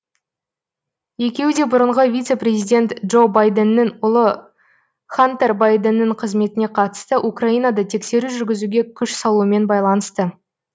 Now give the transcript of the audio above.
екеуі де бұрынғы вице президент джо байденнің ұлы хантер байденнің қызметіне қатысты украинада тексеру жүргізуге күш салуымен байланысты